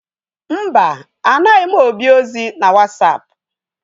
Mba, anaghị m Obi ozi na Wasapụ.